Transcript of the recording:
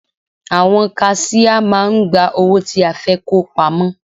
Àwọn kaṣíá máà ń gba owó tí a fẹ́ kó pamọ́.